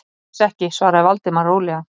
Alls ekki- svaraði Valdimar rólega.